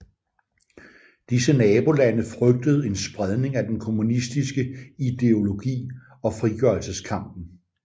Disse nabolande frygtede en spredning af den kommunistiske ideologi og frigørelseskampen